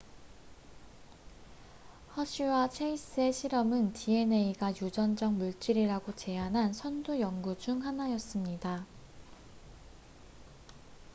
허쉬와 체이스의 실험은 dna가 유전적 물질이라고 제안한 선두 연구 중 하나였습니다